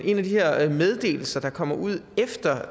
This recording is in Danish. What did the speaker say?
en af de her meddelelser der kommer ud efter